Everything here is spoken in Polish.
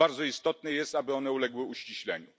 Bardzo istotne jest, aby one uległy uściśleniu.